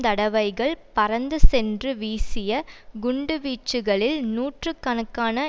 தடவைகள் பறந்து சென்று வீசிய குண்டு வீச்சுகளில் நூற்று கணக்கான